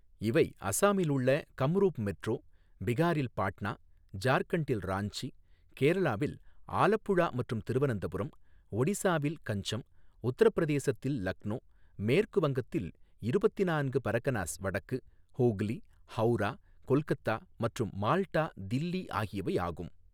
இவை அசாமில் உள்ள கம்ரூப் மெட்ரோ பீகாரில் பாட்னா ஜார்க்கண்டில் ராஞ்சி கேரளாவில் ஆலப்புழா மற்றும் திருவனந்தபுரம் ஒடிசாவில் கஞ்சம் உத்தரப்பிரதேசத்தில் லக்னோ மேற்கு வங்கத்தில் இருபத்து நான்கு பரகனாஸ் வடக்கு, ஹூக்லி, ஹவுரா, கொல்கத்தா மற்றும் மால்டா தில்லி ஆகியவை ஆகும்.